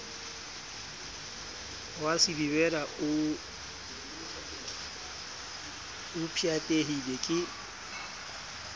wa silivera o pshatlehile ke